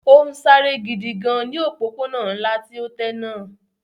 Ó ń sáré gidi gan ní ọ̀pópónà ńlá tí ó tẹ́ náà